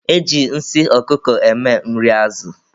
E ji nsị ọkụkọ eme nri azụ.